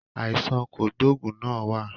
Àìsàn kògbógùn náà wá.